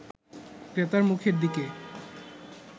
ক্রেতার মুখের দিকে